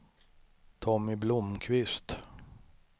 Tommy Blomkvist